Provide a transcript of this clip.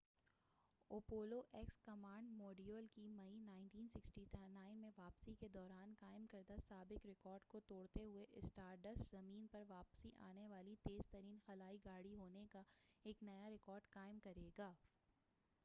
Apollo X command module کی مئی 1969ء میں واپسی کے دوران قائم کردہ سابق رکارڈ کو توڑتے ہوئے اسٹارڈسٹ زمین پر واپس آنے والی تیز ترین خلائی گاڑی ہونے کا ایک نیا رکارڈ قائم کرے گا